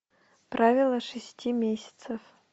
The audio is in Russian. правило шести месяцев